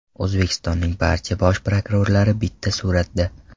O‘zbekistonning barcha bosh prokurorlari bitta suratda.